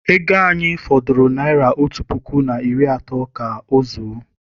Ego anyị fọdụrụ naịra otu puku na iri atọ ka ọ zuo.